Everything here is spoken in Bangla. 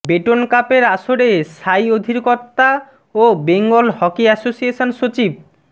বেটন কাপের আসরে সাই অধিকর্তা ও বেঙ্গল হকি অ্যাসোসিয়েশন সচিব